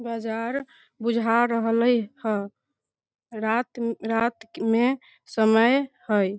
बाजार बुझा रहले हेय रात में रात में समय हेय ।